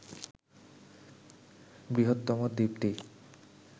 বৃহত্তম দ্বীপটি